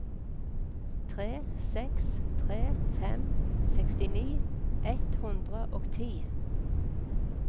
tre seks tre fem sekstini ett hundre og ti